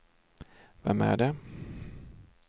vem är det